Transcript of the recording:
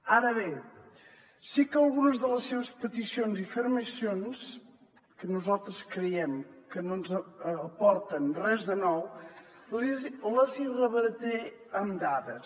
ara bé sí que algunes de les seves peticions i afirmacions que nosaltres creiem que no ens aporten res de nou les hi rebatré amb dades